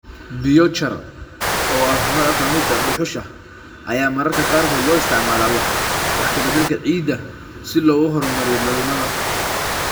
Biochar, oo ah nooc ka mid ah dhuxusha, ayaa mararka qaarkood loo isticmaalaa wax ka beddelka ciidda si loo horumariyo dhalmada.